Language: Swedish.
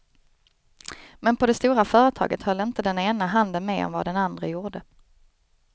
Men på det stora företaget höll inte den ena handen med om vad den andre gjorde.